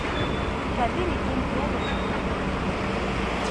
utabiri ee enkijape te nairobi